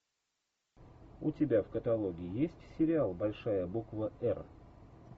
у тебя в каталоге есть сериал большая буква р